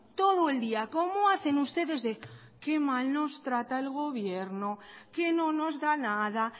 todo el día como hacen ustedes que mal nos trata el gobierno que no nos da nada